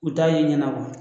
U t'a ye ɲana